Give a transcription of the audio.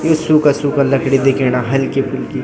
यु सूखा सूखा लकड़ी दिखेणा हलकी फुलकी।